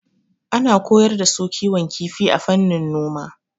Ana koyar da su kiwon kifi a fannin noma.